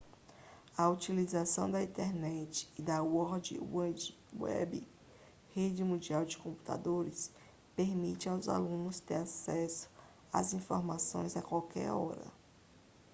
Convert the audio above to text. a utilização da internet e da world wide web rede mundial de computadores permite aos alunos ter acesso às informações a qualquer hora